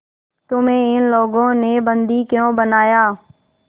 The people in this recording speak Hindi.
तुम्हें इन लोगों ने बंदी क्यों बनाया